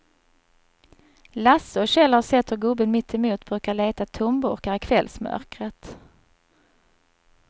Lasse och Kjell har sett hur gubben mittemot brukar leta tomburkar i kvällsmörkret.